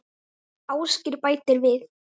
Ásgeir bætir við